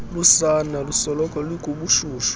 lusana lusoloko lukubushushu